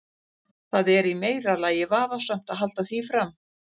Það er í meira lagi vafasamt að halda því fram.